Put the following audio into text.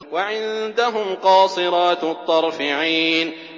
وَعِندَهُمْ قَاصِرَاتُ الطَّرْفِ عِينٌ